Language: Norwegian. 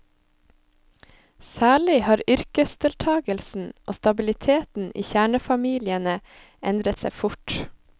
Særlig har yrkesdeltagelsen og stabiliteten i kjernefamiliene endret seg fort.